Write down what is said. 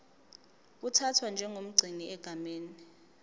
uthathwa njengomgcini egameni